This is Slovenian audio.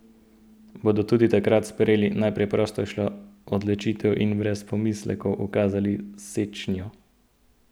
Bodo tudi takrat sprejeli najpreprostejšo odločitev in brez pomislekov ukazali sečnjo?